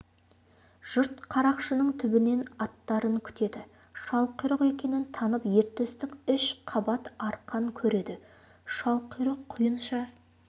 жұрт қарақшының түбінен аттарын күтеді шалқұйрық екенін танып ер төстік үш қабат арқан кереді шалқұйрық құйынша